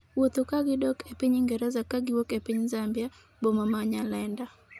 wuotho ka gidok e piny Ingreza ka giwuok e piny Zambia, boma ma Nyalenda